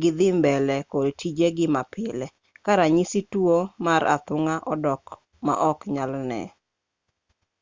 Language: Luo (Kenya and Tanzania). gi dhii mbele kod tijegi mapile ka ranyisi tuo mar athung'a odok ma ok nyal ne